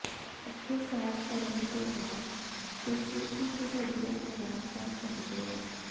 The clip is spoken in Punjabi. ਇੱਥੇ ਸੈਰ ਕਰਨ ਦੇ ਬਾਅਦ ਤੁਸੀਂ ਇੱਕ ਵਧੀਆ ਆਰਾਮ ਕਰ ਸਕਦੇ ਹੋ